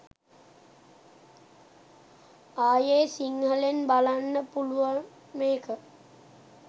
ආයේ සිංහලෙන් බලන්න පුලුවන් මේක.